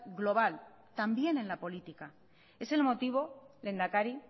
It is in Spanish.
global también en la política es el motivo lehendakari